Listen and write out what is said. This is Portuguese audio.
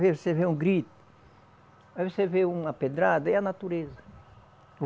Você vê um grito, aí você vê uma pedrada, aí é a natureza.